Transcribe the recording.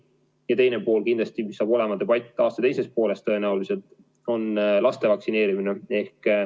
Ja teine teema kindlasti, mille üle saab olema debatt aasta teises pooles, on laste vaktsineerimine.